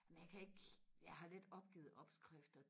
men jeg kan ikke jeg har lidt opgivet opskrifter